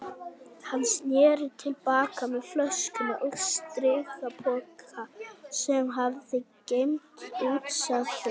Hann sneri til baka með flöskuna og strigapoka sem hafði geymt útsæðið.